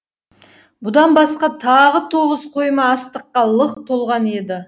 бұдан басқа тағы тоғыз қойма астыққа лық толған еді